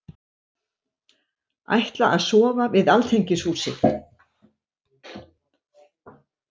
Ætla að sofa við Alþingishúsið